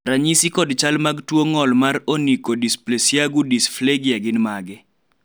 ranyisi kod chal mag tuo ng'ol mar onychodysplasiagu disfagia gin mage?